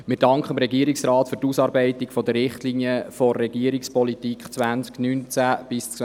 Wir danken dem Regierungsrat für die Ausarbeitung der Richtlinien der Regierungspolitik 2019–2022.